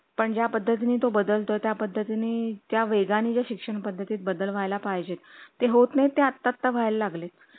त्यांना फक्त देशाचे नागरिक असणे आणि किमान पंचवीस वर्षाचे असणे आवश्यक आहे सर्वात विचित्र गोष्ट म्हणजे निवडणूक लढवण्यासाठी किमान